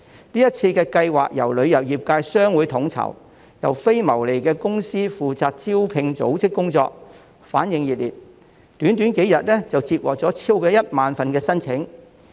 這次計劃由旅遊業界的商會統籌，並由非牟利的公司負責招聘組織工作，得到旅遊從業員熱烈反應，短短幾天便已接獲超過1萬份職位申請。